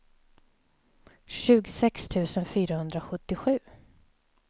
tjugosex tusen fyrahundrasjuttiosju